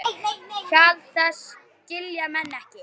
Hjal þess skilja menn ekki.